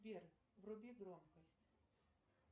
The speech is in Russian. сбер вруби громкость